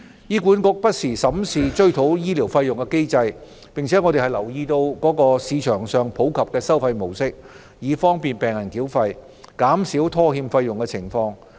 醫管局會不時審視追討醫療費用的機制，而我們亦會留意市場上普及的繳費模式，以利便病人繳費，從而減少拖欠繳費的情況。